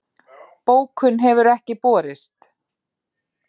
Bókun hefur ekki borist